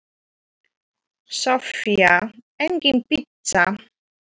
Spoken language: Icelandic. Soffía: Engin pizza.